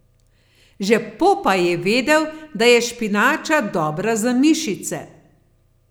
Že Popaj je vedel, da je špinača dobra za mišice.